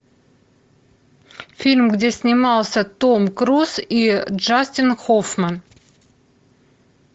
фильм где снимался том круз и джастин хоффман